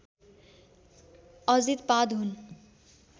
अजितपाद हुन्